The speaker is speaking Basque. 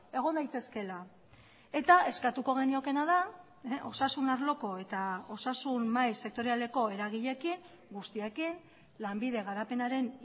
egon daitezkeela eta eskatuko geniokeena da osasun arloko eta osasun mahai sektorialeko eragileekin guztiekin lanbide garapenaren